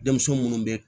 Denmisɛn munnu be